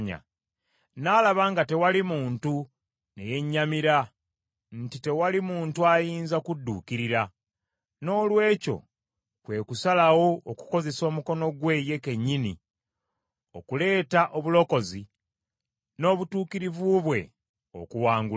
N’alaba nga tewali muntu, ne yennyamira nti tewali muntu ayinza kudduukirira. Noolwekyo kwe kusalawo okukozesa omukono gwe ye kennyini okuleeta obulokozi n’obutuukirivu bwe okuwangula.